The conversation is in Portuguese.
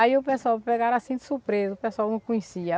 Aí o pessoal pegaram assim de surpresa, o pessoal não conhecia.